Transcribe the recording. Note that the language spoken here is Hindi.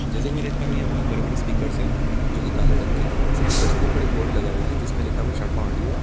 जैसे कि मैं देख पा रहा हूं यह बहोत बड़े-बड़े स्पीकर्स है जोकि काले रंग के है स्पीकर्स के ऊपर एक बोर्ड लगा हुआ जिसमें लिखा हुआ है शर्मा ऑडियो ।